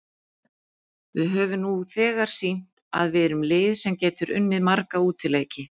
Við höfum nú þegar sýnt að við erum lið sem getur unnið marga útileiki.